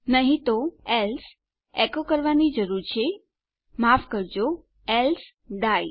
નહી તો માફ કરજો એલ્સે આપણે એકો કરવાની જરૂર છે માફ કરજો એલ્સે ડાઇ